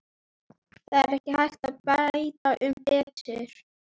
Það er ekki hægt að bæta um betur.